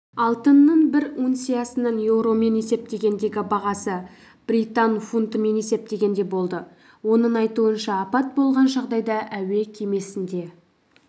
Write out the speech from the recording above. алтынның бір унциясының еуромен есептегендегі бағасы британ фунтымен есептегенде болды оның айтуынша апат болған жағдайда әуекемесінде